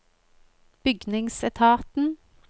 bygningsetaten